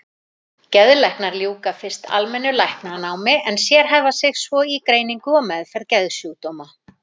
Geðlæknar ljúka fyrst almennu læknanámi en sérhæfa sig svo í greiningu og meðferð geðsjúkdóma.